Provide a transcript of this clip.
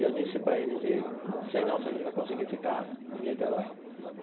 Eu disse para eles, e não sei não se a gente vai conseguir ficar em Niterói.